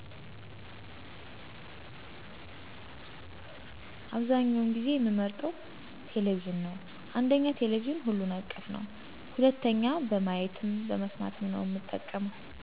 አብዛኛውን ጊዜ የምመርጠው ቴሌቪዥን ነዉ። አንደኛ ቴሌቪዥን ሁሉን አቀፍ ነዉ። ሁለተኛ በማየትም በመስማትም ነው እምጠቀመው።